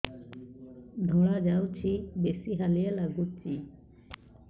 ଧଳା ଯାଉଛି ବେଶି ହାଲିଆ ଲାଗୁଚି